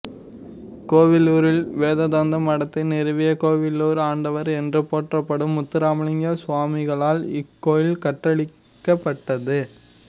கோவிலூரில் வேதாந்த மடத்தை நிறுவிய கோவிலூர் ஆண்டவர் என்று போற்றப்படும் முத்துராமலிங்க சுவாமிகளால் இக்கோயில் கற்றளியாக்கப்பட்டது